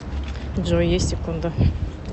джой есть секунда